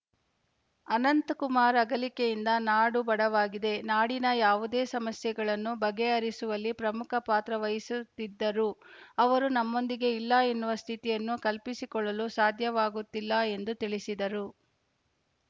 ಅನಂತಕುಮಾರ ಅಗಲಿಕೆಯಿಂದ ನಾಡು ಬಡವಾಗಿದೆ ನಾಡಿನ ಯಾವುದೇ ಸಮಸ್ಯೆಗಳನ್ನು ಬಗೆಹರಿಸುವಲ್ಲಿ ಪ್ರಮುಖ ಪಾತ್ರವಹಿಸುತ್ತಿದ್ದರು ಅವರು ನಮ್ಮೊಂದಿಗೆ ಇಲ್ಲ ಎನ್ನುವ ಸ್ಥಿತಿಯನ್ನು ಕಲ್ಪಿಸಿಕೊಳ್ಳಲು ಸಾಧ್ಯವಾಗುತ್ತಿಲ್ಲ ಎಂದು ತಿಳಿಸಿದರು